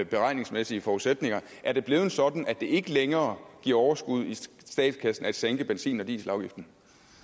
beregningsmæssige forudsætninger er det blevet sådan at det ikke længere giver overskud i statskassen at sænke benzin og dieselafgiften